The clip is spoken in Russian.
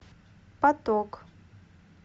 поток